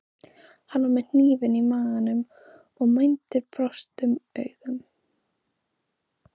Hann var með hnífinn í maganum og mændi brostnum augum.